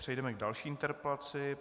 Přejdeme k další interpelaci.